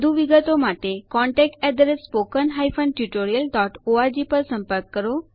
વધુ વિગતો માટે contactspoken tutorialorg પર સંપર્ક કરો